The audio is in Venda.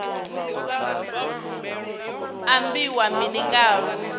ambiwa mini nga ha lufu